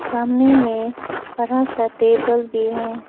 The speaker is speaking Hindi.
सामने में बड़ा सा टेबल भी है।